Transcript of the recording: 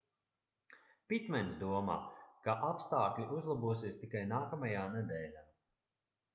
pitmens domā ka apstākļi uzlabosies tikai nākamajā nedēļā